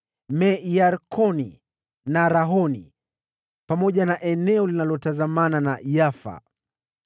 Me-Yarkoni na Rakoni, pamoja na eneo linalotazamana na Yafa.